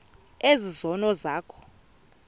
ezi zono zakho